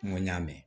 N ko n y'a mɛn